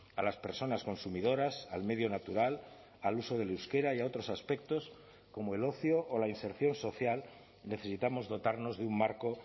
a las personas consumidoras al medio natural al uso del euskera y a otros aspectos como el ocio o la inserción social necesitamos dotarnos de un marco